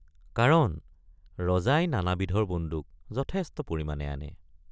কাৰণ ৰজাই নানাবিধৰ বন্দুক যথেষ্ট পৰিমাণে আনে।